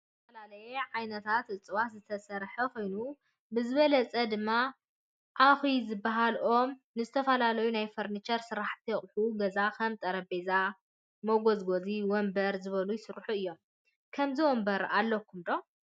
ካብ ዝተፈላለየ ዓይነታት እፅዋትዝሰራሕ ኮይኑ ብዝበለፀ ድማ ዓኪ ዝበሃል ኦም ንዝተፈላለዮ ናይ ፈርንቸር ስራሕቲ አቁሑ ገዛ ከም ጠረጴዛ መጎዝጎዚ ወንበር ዝበሉ ይሰርሑ እዮም ። ከምዚ ወንበር አለኩም ዶ?